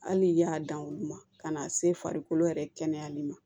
Hali n'i y'a dan olu ma ka n'a se farikolo yɛrɛ kɛnɛyali ma